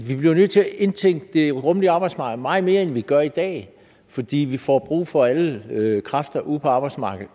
indtænke det rummelige arbejdsmarked meget mere end vi gør i dag fordi vi får brug for alle kræfter ude på arbejdsmarkedet